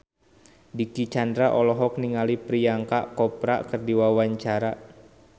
Dicky Chandra olohok ningali Priyanka Chopra keur diwawancara